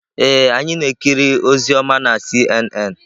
Ee, anyị na-ekiri ozi ọma na CNN.